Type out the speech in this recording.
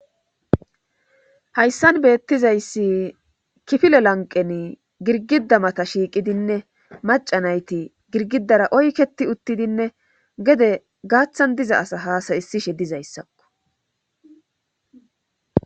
Hayssan beettizayssi kifile lanqen girgida mata shiiqidinne macanayti girgidara oyketi uttidinne gede gaaththan diza asa haasayissishe dizayssakko.